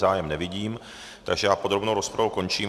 Zájem nevidím, takže já podrobnou rozpravu končím.